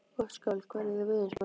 Gottskálk, hvernig er veðurspáin?